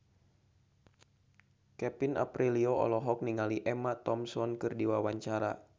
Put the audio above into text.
Kevin Aprilio olohok ningali Emma Thompson keur diwawancara